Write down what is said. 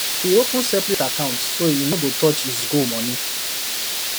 he open separate account so he no go touch his goal money